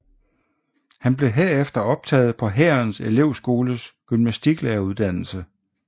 Han blev herefter optaget på Hærens Elevskoles gymnastiklæreruddannelse